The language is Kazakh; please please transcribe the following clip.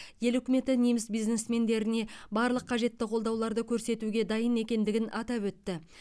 ел үкіметі неміс бизнесмендеріне барлық қажетті қолдауды көрсетуге дайын екендігін атап өтті